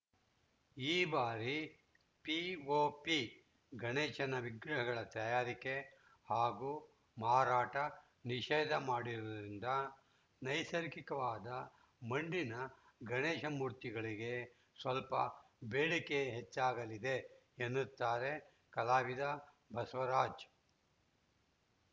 ಈ ಬಾರಿ ಪಿಓಪಿ ಗಣೇಶನ ವಿಗ್ರಹಗಳ ತಯಾರಿಕೆ ಹಾಗೂ ಮಾರಾಟ ನಿಷೇಧ ಮಾಡಿರುವುದರಿಂದ ನೈಸರ್ಗಿಕವಾದ ಮಣ್ಣಿನ ಗಣೇಶ ಮೂರ್ತಿಗಳಿಗೆ ಸ್ವಲ್ಪ ಬೇಡಿಕೆ ಹೆಚ್ಚಾಗಲಿದೆ ಎನ್ನುತ್ತಾರೆ ಕಲಾವಿದ ಬಸವರಾಜ್‌